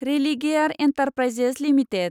Religare Enterprises limited